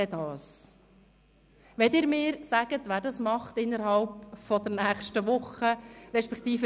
Können Sie mir sagen, wer das bis nächste Woche macht?